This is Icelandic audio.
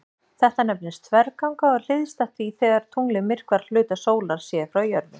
Þetta nefnist þverganga og er hliðstætt því þegar tunglið myrkvar hluta sólar séð frá jörðu.